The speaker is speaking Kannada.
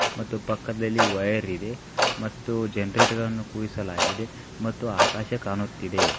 ಮತ್ತೆ ಪಕ್ಕದಲ್ಲಿ ವೈರ್ ಇದೆ ಮತ್ತು ಜನರೇಟ್ ಗಳನ್ನೂ ಕೂಡಿಸಲಾಗಿದೆ ಮತ್ತು ಆಕಾಶ ಕಾಣುತ್ತಿದೆ.